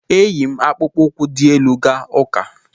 E yi m akpụkpọ ụkwụ dị elu gaa ụka.